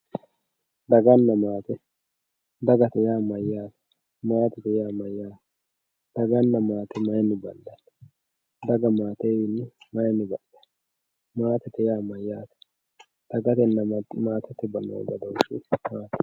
daganna maate dagate yaa mayaate maatete yaa mayaate dagana maate mayiini bandanni daga maatewichini mayiini badhitanno maatete yaa mayaate daganna maatete badooshi maati